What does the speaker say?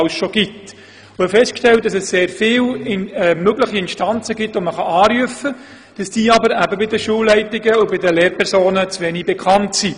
Dabei haben wir festgestellt, dass man sehr viele Instanzen anrufen kann, aber dass sie bei den Schulleitungen und den Lehrpersonen zu wenig bekannt sind.